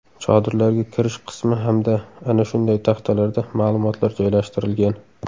Chodirlarga kirish qismi hamda ana shunday taxtalarda ma’lumotlar joylashtirilgan.